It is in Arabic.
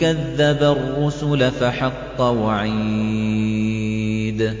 كَذَّبَ الرُّسُلَ فَحَقَّ وَعِيدِ